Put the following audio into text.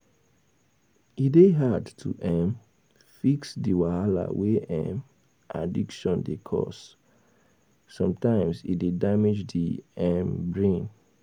E dey hard to um fix di wahala wey um addiction dey cause, sometimes e dey damage di um brain